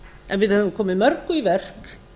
en við höfum komið mörgu í verk